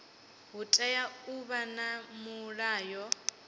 hu tea u vha na mulayo